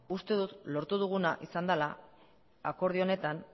uste dut lortu duguna izan dela akordio honetan